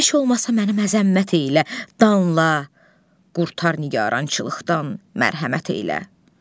Heç olmasa məni əzəmət elə, danla, qurtar nigarançılıqdan, mərhəmət elə.